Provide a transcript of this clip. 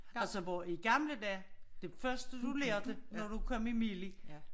Altså hvor i gamle dage det første du lærte når du kom i mili